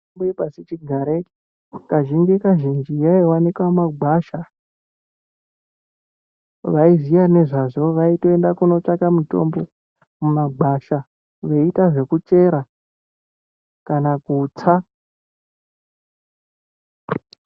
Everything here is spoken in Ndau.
Mitombo yepashi chigare kazhinji kazvinji yaivanika mumagwasha. Vaiziya vezvazvo vaienda kunotsvaka mutombo mumagwasha veiita zvekuchera kana kutsa.